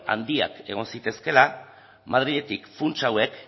handiak egon zitezkeela madriletik funts hauek